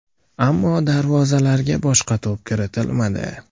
Ammo darvozalarga boshqa to‘p kiritilmadi.